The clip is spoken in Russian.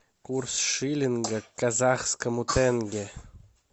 курс шиллинга к казахскому тенге